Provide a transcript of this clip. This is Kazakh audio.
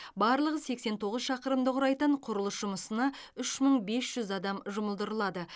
барлығы сексен тоғыз шақырымды құрайтын құрылыс жұмысына үш мың бес жүз адам жұмылдырылады